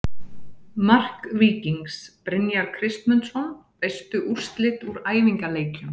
Mark Víkings: Brynjar Kristmundsson Veistu úrslit úr æfingaleikjum?